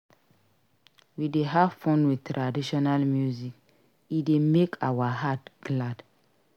We dey have fun with traditional music; e dey make our heart glad.